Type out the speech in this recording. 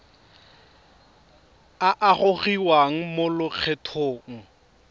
a a gogiwang mo lokgethong